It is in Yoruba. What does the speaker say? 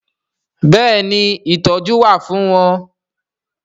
Bẹ́ẹ̀ni ìtọ́jú wà fún wọn